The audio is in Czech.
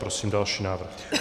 Prosím další návrh.